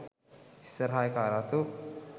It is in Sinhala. ඉස්සරහ එකා රතු